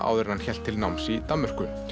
áður en hann hélt til náms í Danmörku